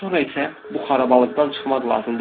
Sonra isə bu xarabalığdan çıxmaq lazımdır.